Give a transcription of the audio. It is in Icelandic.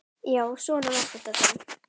Já, svona var þetta þá.